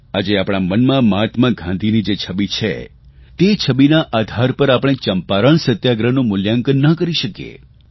આજે આપણા મનમાં મહાત્મા ગાંધીની જે છબિ છે તે છબિના આધાર પર આપણે ચંપારણ સત્યાગ્રહનું મૂલ્યાંકન ન કરી શકીએ